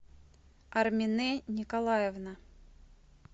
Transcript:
армине николаевна